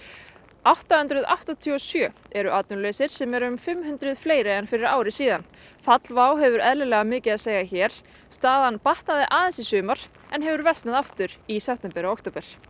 átta hundruð áttatíu og sjö eru atvinnulausir sem eru um fimm hundruð fleiri en fyrir ári síðan fall WOW hefur eðlilega mikið að segja hér staðan batnaði aðeins í sumar en hefur versnað aftur í september og október